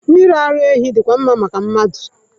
Mmiri ara ehi dịkwa mma maka mmadụ.